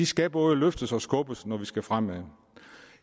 skal både løftes og skubbes når vi skal fremad